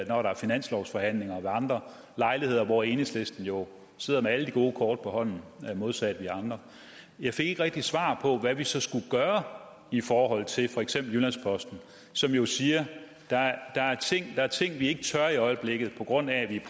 når der er finanslovsforhandlinger og ved andre lejligheder hvor enhedslisten jo sidder med alle de gode kort på hånden modsat os andre jeg fik ikke rigtig svar på hvad vi så skulle gøre i forhold til for eksempel jyllands posten som jo siger der er ting vi ikke tør gøre i øjeblikket på grund af at vi